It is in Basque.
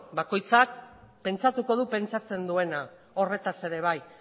beno bakoitzak pentsatuko dugu pentsatzen duena horretaz ere bai